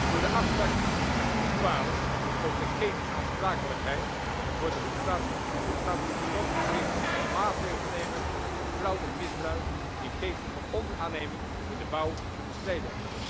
Door de afspraak in artikel 12 over de ketenaansprakelijkheid worden lidstaten tot slot verplicht om maatregelen te nemen om fraude en misbruik in ketens van onderaanneming in de bouw te bestrijden.